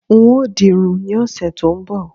n o dirun ni ọsẹ ti o n bo